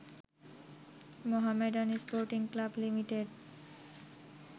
Mohammedan Sporting Club limited